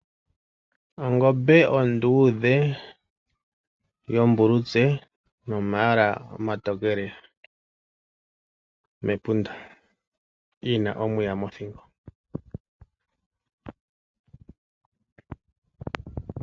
Ongombe onduudhe yombulutse nomayala omatokele mepunda. Yi na omuya mothingo.